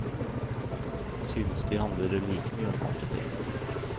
Synes de handler like mye om andre ting.